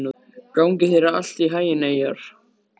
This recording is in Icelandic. Gangi þér allt í haginn, Eyjar.